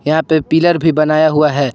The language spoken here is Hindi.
यहां पे पिलर भी बनाया हुआ है।